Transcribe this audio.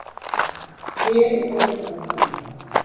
Tré í vetrardvala.